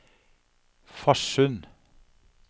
Farsund